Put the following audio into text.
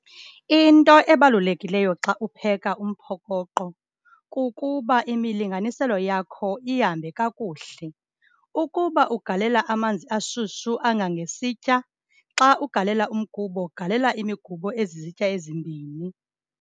Into ebalulekileyo xa upheka umphokoqo kukuba imilinganiselo yakho ihambe kakuhle. Ukuba ugalela amanzi ashushu angangesitya, xa ugalela umgubo galela imigubo ezizitya ezimbini.